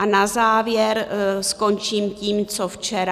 A na závěr skončím tím, co včera.